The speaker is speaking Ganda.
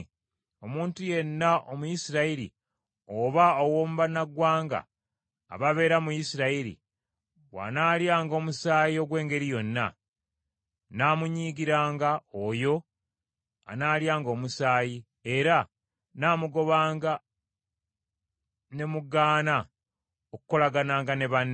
“Omuntu yenna Omuyisirayiri oba ow’omu bannamawanga ababeera mu Isirayiri bw’anaalyanga omusaayi ogw’engeri yonna, nnaamunyiigiranga oyo anaalyanga omusaayi, era nnaamugobanga ne mugaana okukolagananga ne banne.